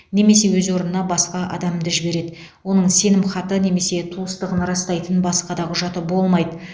немесе өз орнына басқа адамды жібереді оның сенімхаты немесе туыстығын растайтын басқа да құжаты болмайды